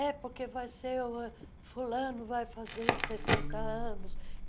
É porque vai ser o... Fulano vai fazer setenta anos.